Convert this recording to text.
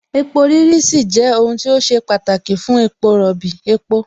epo rírí sì jẹ́ ohun tí ó ṣe pàtàkì fún epo rọ̀bì, epo